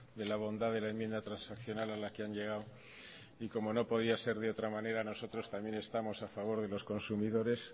de la bondad de la enmienda transaccional a la que han llegado y como no podía ser de otra manera nosotros también estamos a favor de los consumidores